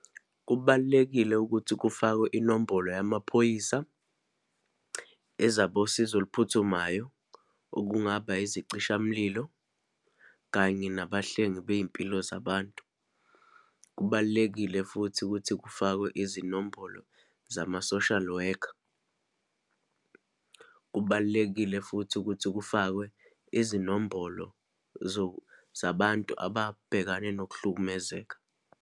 Kubalulekile ukuthi kufakwe inombolo yamaphoyisa, ezabosizo oluphuthumayo, okungaba izicishamlilo, kanye nabahlengi beyimpilo zabantu. Kubalulekile futhi ukuthi kufakwe izinombolo zama-social worker. Kubalulekile futhi ukuthi kufakwe izinombolo zabantu ababhekane nokuhlukumezeka.